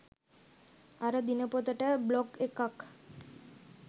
අර දිනපොතට බ්ලොග් එකක්.